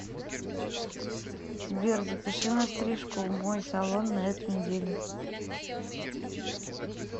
сбер запиши на стрижку в мой салон на эту неделю